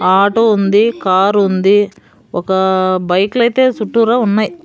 Auto ఉంది car ఉంది ఒక బైకులు అయితే చుట్టూరా ఉన్నాయి.